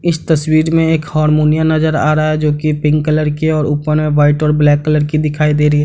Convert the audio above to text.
इस तस्वीर में एक हारमोनियम नजर आ रहा है जो की पिंक कलर की है और ऊपर में व्हाइट और ब्लैक कलर की दिखाई दे रही है।